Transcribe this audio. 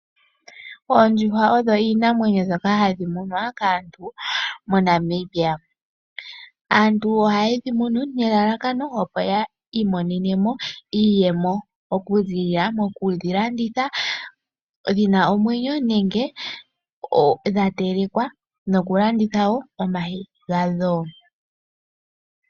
Oondjuhwa odho iinamwenyo mbyoka hayi munwa kaantu moNamibia. Aantu ohaye dhi munu nelalakano opo yi imonene mo iiyemo okuziilila mokudhi landitha dhina omwenyo nenge dha telekwa nenge oku landitha omayi gadho.